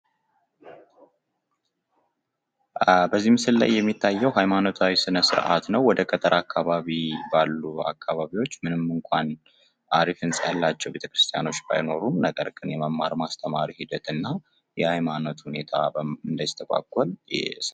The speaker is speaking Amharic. በዚህ ምስል ላይ የሚታየው ሃይማኖታዊ ስነስርዓት ነው። ወደ ገጠር አካባቢ ባሉ አካባቢዎች ምንም እንኳን አሪፍ ህንጻ ያላቸው ቤተክርስቲያኖች ባይኖሩም እንኳን የመማር ማስተማር ሂደትና የሃይማኖት ሁኔታ እንዳይስተጓጎል።